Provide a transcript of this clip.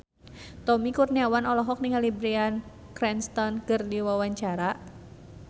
Tommy Kurniawan olohok ningali Bryan Cranston keur diwawancara